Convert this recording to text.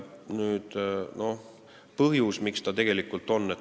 Mis on põhjus, miks see nii on?